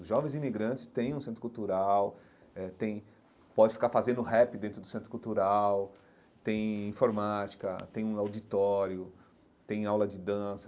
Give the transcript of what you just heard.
Os jovens imigrantes têm um centro cultural, eh têm podem ficar fazendo rap dentro do centro cultural, têm informática, têm um auditório, têm aula de dança,